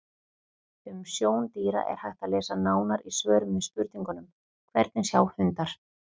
Um sjón dýra er hægt að lesa nánar í svörum við spurningunum: Hvernig sjá hundar?